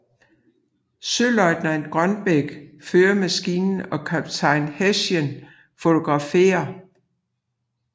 Søløjtnant Grønbæk fører maskinen og kaptajn Herschend fotograferer